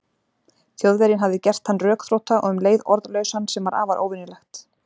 Þjóðverjinn hafði gert hann rökþrota og um leið orðlausan, sem var afar óvenjulegt.